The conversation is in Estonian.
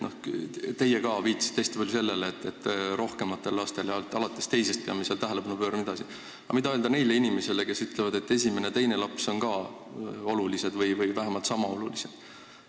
Te viitasite hästi palju sellele, et me peame rohkematele lastele tähelepanu pöörama, aga te ei pidanud vastama küsimusele, mida öelda neile inimestele, kelle arvates esimene ja teine laps on ka olulised või vähemalt sama olulised.